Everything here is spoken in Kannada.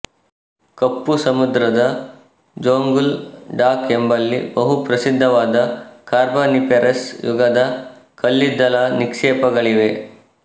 ಕಪ್ಪು ಸಮುದ್ರದ ಜೋಂಗುಲ್ ಡಾಕ್ ಎಂಬಲ್ಲಿ ಬಹುಪ್ರಸಿದ್ಧವಾದ ಕಾರ್ಬಾನಿಫೆರಸ್ ಯುಗದ ಕಲ್ಲಿದ್ದಲ ನಿಕ್ಷೇಪಗಳಿವೆ